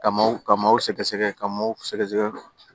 Ka maaw ka maaw sɛgɛsɛgɛ ka maaw sɛgɛsɛgɛ